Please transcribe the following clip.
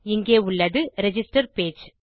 இங்கே உள்ளது register page